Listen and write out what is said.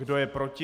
Kdo je proti?